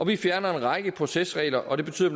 vi fjerner en række procesregler og det betyder